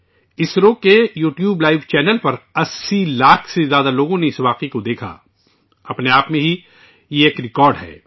اسرو کے YouTube live channel پر 80 لاکھ سے زیادہ لوگوں نے اس تقریب کو دیکھا جو اپنے آپ میں ایک ریکارڈ ہے